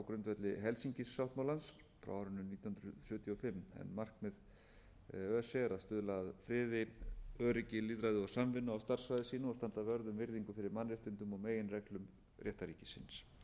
grundvelli helsinkisáttmálans frá árinu nítján hundruð sjötíu og fimm markmið öse er að stuðla að friði öryggi lýðræði og samvinnu á starf svæði sínu og standa vörð um virðingu fyrir mannréttindum og meginreglum réttarríkisins öse sinnir